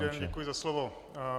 Dobrý den, děkuji za slovo.